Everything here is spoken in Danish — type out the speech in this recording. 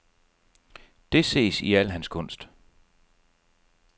Det ses i al hans kunst.